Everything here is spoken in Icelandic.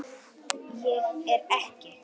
Er ekki